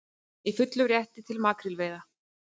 Í fullum rétti til makrílveiða